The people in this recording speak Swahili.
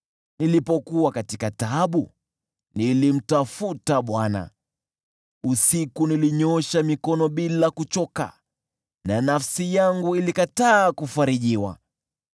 Nilipokuwa katika taabu, nilimtafuta Bwana, usiku nilinyoosha mikono bila kuchoka na nafsi yangu ilikataa kufarijika.